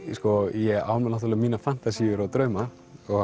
ég á mínar fantasíur og drauma